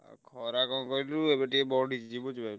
ଆଉ ଖରା କଣ କହିଲୁ ଏବେ ଟିକେ ବଢିଛି ବୁଝିପାଇଲୁ।